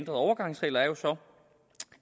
overgangsregler er jo så